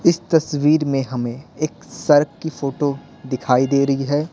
इस तस्वीर में हमें एक सर्क की फोटो दिखाई दे रही है।